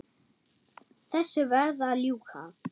Þessu varð að ljúka.